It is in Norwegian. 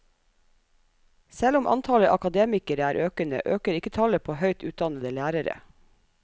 Selv om antallet akademikere er økende, øker ikke tallet på høyt utdannede lærere.